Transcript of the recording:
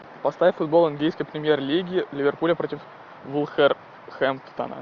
поставь футбол английской премьер лиги ливерпуля против вулверхэмптона